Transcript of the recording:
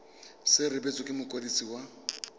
se rebotswe ke mokwadisi wa